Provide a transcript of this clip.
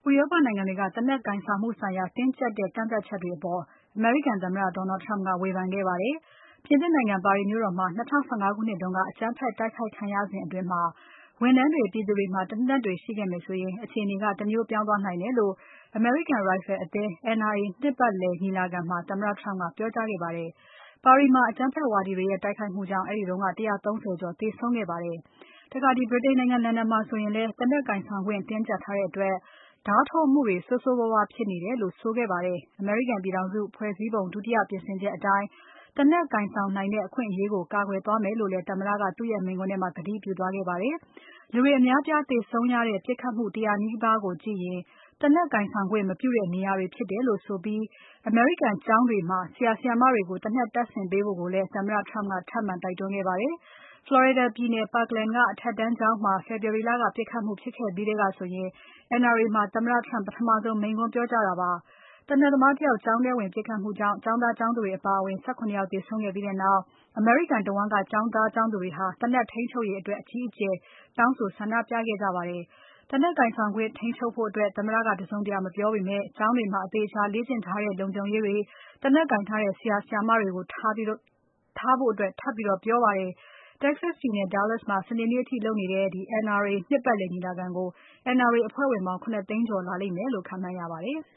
ဥရောပနိုင်ငံတွေက သေနတ်ကိုင်ဆောင်မှုဆိုင်ရာ တင်းကြပ်တဲ့ကန့်သတ်ချက်တွေအပေါ် အမေရိကန်သမ္မတ Donald Trump ကဝေဖန်ခဲ့ပါတယ်။ ပြင်သစ်နိုင်ငံ ပါရီမြို့တော်မှာ ၂၀၁၅ ခုနှစ်တုန်းက အကြမ်းဖက် တိုက်ခိုက်မှုခံရစဉ်အတွင်း ဝန်ထမ်းတွေ ပြည်သူတွေမှာ သေနတ်တွေရှိခဲ့မယ်ဆိုရင် အခြေအနေက တမျိုးပြောင်းသွားနိုင်တယ်လို့ အမေရိကန် ရိုင်ဖယ်အသင်း (NRA) နှစ်ပတ်လည်ညီလာခံမှာ သမ္မတ Trump က ပြောကြားခဲ့တာ ဖြစ်ပါတယ်။ ပါရီမှာ အကြမ်းဖက်ဝါဒီတွေရဲ့ တိုက်ခိုက်မှုကြောင့် အဲဒီတုန်းက ၁၃၀ ကျော် သေဆုံးခဲ့ပါတယ်။ ဗြိတိန်နိုင်ငံ လန်ဒန်မြို့မှာဆိုရင်လဲ သေနတ်ကိုင်ဆောင်ခွင့် တင်းကြပ်ထားတဲ့အတွက် ဓါးထိုးမှုတွေဆိုးဆိုးဝါးဝါးဖြစ်နေတယ်လို့ ဆိုခဲ့ပါတယ်။ အမေရိကန်ပြည်ထောင်စု ဖွဲ့စည်းပုံ ဒုတိယ ပြင်ဆင်ချက်အတိုင်း သေနတ်ကိုင်ဆောင်နိုင်တဲ့ အခွင့်အရေးကို ကာကွယ်သွားမယ်လို့လည်း သမ္မတက သူ့ရဲ့ မိန့်ခွန်းမှာ ကတိပြုသွားခဲ့ပါတယ်။ လူတွေအများအပြားသေဆုံးရတဲ့ ပြစ်ခတ်မှု ၁၀၀% နီးပါးကို ကြည့်ရင် သေနတ်ကိုင်ဆောင်ခွင့် မပြုတဲ့နေရာဖြစ်တယ်လို့ ဆိုပြီး အမေရိကန် ကျောင်းတွေမှာ ဆရာ ဆရာမတွေကို သေနတ်တပ်ဆင်ပေးဖို့ကိုလည်း သမ္မတ Trump ကထပ်မံ တိုက်တွန်းခဲ့ပါတယ်။ Florida ပြည်နယ် Parkland ကအထက်တန်းကျောင်းမှာ February လက ပစ်ခတ်မှုဖြစ်ခဲ့ပြီးထဲကဆိုရင် NRA မှာ သမ္မတ Trump ပထမဆုံး မိန့်ခွန်းပြောကြားတာလည်း ဖြစ်ပါတယ်။ သေနတ်သမားတယောက် ကျောင်းထဲဝင်ပစ်ခတ်မှုအတွင်း ကျောင်းသားကျောင်းသူတွေအပါအဝင် ၁၇ ယောက်သေဆုံးခဲ့ပြီးနောက် အမေရိကန်တဝန်းက ကျောင်းသူ ကျောင်းသားတွေက သေနတ်ထိန်းချုပ်ရေးအတွက် အကြီးအကျယ် ဆန္ဒပြခဲ့ကြတာပါ။ သေနတ်ကိုင်ဆောင်ခွင့် ထိန်းချုပ်ဖို့အတွက် သမ္မတက တစုံတရာ မပြောပေမဲ့ ကျောင်းတွေမှာ အသေအချာလေ့ကျင့်ထားတဲ့ လုံခြုံရေးတွေ၊ လက်နက်ကိုင်ထားတဲ့ ဆရာ ဆရာမတွေကို ထားဖို့ ထပ်ပြီး ပြောကြားခဲ့ပါတယ်။ Texas ပြည်နယ် Dallas မြို့မှာ စနေနေ့အထိပြုလုပ်နေတဲ့ NRA နှစ်ပတ်လည်ညီလာခံကို NRA အဖွဲ့ဝင်ပေါင်း ၇ သိန်းကျော် လာလိမ့်မယ်လို့ ခန့်မှန်းရပါတယ်။